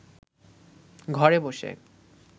ঘরে বসে